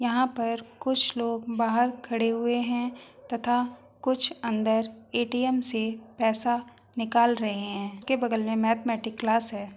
यहाँ पर कुछ लोग बाहर खडे हुए है तथा कुछ अंदर एटीएम से पैसा निकाल रहे है के बगल मे मैथमेटिक्स क्लास है।